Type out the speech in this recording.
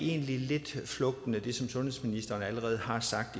egentlig lidt med det som sundhedsministeren allerede har sagt